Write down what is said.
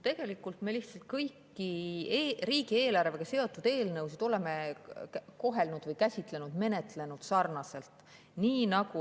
Tegelikult me lihtsalt kõiki riigieelarvega seotud eelnõusid oleme kohelnud, käsitlenud, menetlenud sarnaselt.